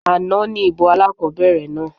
Àná ní ìbò alákobẹ̀rẹ̀ náà